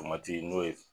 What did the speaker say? Tomati n'o ye